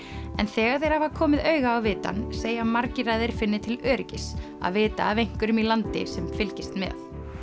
en þegar þeir hafa komið auga á vitann segja margir að þeir finni til öryggis að vita af einhverjum í landi sem fylgist með